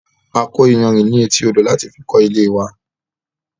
A kọ́ iyanrìn ní etí odò láti fi kó ilée wa